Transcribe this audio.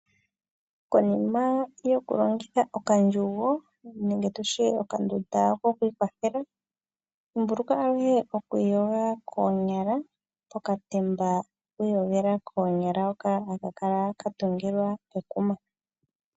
Konima yoku longitha okandjugo nenge tutye okandunda ko kwiikwathela dhimbuluka wo okwiiyoga koonyala pokatemba ko kwiiyogela koonyala hoka haka kala ka tungilwa kekuma.